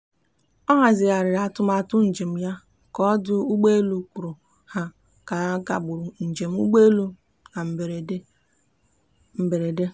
ọ hazigharịrị atụmatụ njem ya ka ọdụ ụgbọelu kwuru na ha kagburu njem ụgbọelu na mberede. mberede.